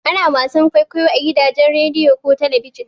Ana wasan kwaikwayo a gidajen rediyo ko talabijin.